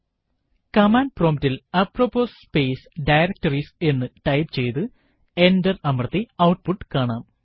command prompt ൽ apropos space directories എന്നു type ചെയ്തു എന്റർ അമർത്തി ഔട്ട്പുട്ട് കാണാം